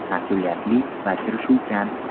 Mas’uliyatli va kirishuvchan.